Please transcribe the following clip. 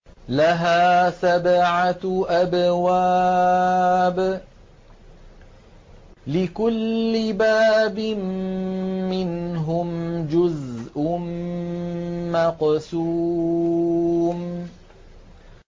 لَهَا سَبْعَةُ أَبْوَابٍ لِّكُلِّ بَابٍ مِّنْهُمْ جُزْءٌ مَّقْسُومٌ